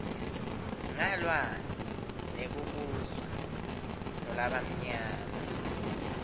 ngalwa nekubuswa ngulabamnyama